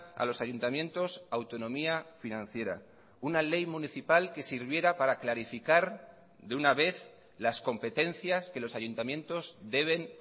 a los ayuntamientos autonomía financiera una ley municipal que sirviera para clarificar de una vez las competencias que los ayuntamientos deben